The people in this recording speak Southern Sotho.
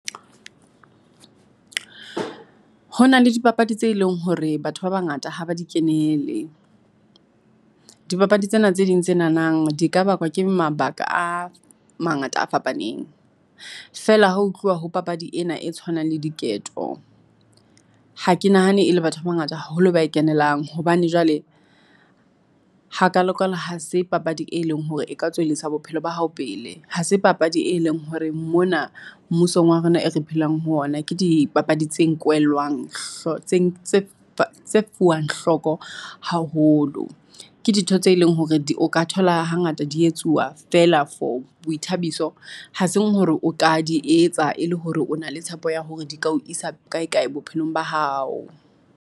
Ho na le dipapadi tse leng hore batho ba bangata ha ba di kenele. Dipapadi tsena tse ding tse nahanang di ka bakwa ke mabaka a mangata a fapaneng. Feela ha ho tluwa ho papadi ena e tshwanang le diketo. Ha ke nahane e le batho ba bangata haholo ba e kenelang hobane jwale hakalo-kalo ha se papadi e leng hore e ka tswellisa bophelo ba hao pele. Ha se papadi e leng hore mona mmusong wa rona e re phelang ho ona ke dipapadi tse nkwelwang tse tse fuwang hloko haholo. Ke ditho tse leng hore di o ka thola hangata di etsuwa feela for boithabiso ha seng hore o ka di etsa e le hore o na le tshepo ya hore di ka ho isa kae kae bophelong ba hao.